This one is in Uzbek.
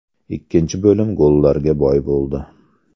Ikkinchi bo‘lim gollarga boy bo‘ldi.